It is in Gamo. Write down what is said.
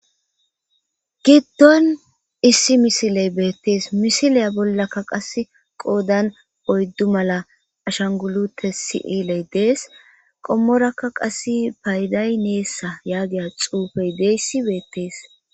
Giddon issi misiley beettees misiliya bollakka qase qoodan oyddu mala ashangulute siiley dees qommoraka qas payday neessa yaagiya xuufey deeyssi beettees.